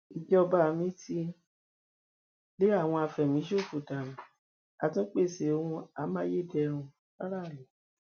ìjọba mi ti lé àwọn afẹmíṣòfò dànù á tún pèsè ohun amáyédẹrùn fáráàlú